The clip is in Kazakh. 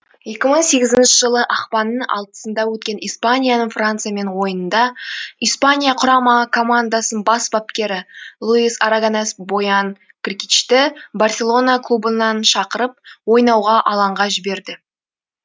екі мың сегізінші жылы ақпанның алтысында өткен испанияның франсиямен ойынында испания құрама командасын бас бапкері луис арагонес боян кркичты барселона клубынан шақырып ойнауға алаңға жіберді